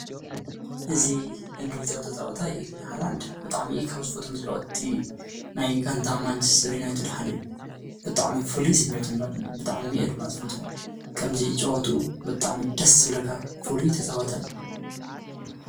እዚ ኢንግሊዛዊ ተፃዋታይ እዩ፡፡ ብጣዕሚ ካብ ዝፈትዎ ተጫወቲ ናይ ጋንታ ማንችስተር ዩናይትድ ሓደ እዩ፡፡ ብጣዕሚ ፉሉይ ስሚዒት ድማኒ ኣለኒ፡፡ ብጣዕሚ እየ ድማ ዝፈትዎ፡፡ ከምዚ ኣጨውትኡ ደስ ዝብለካ ፍሉይ ተጫዋታይ እዩ፡፡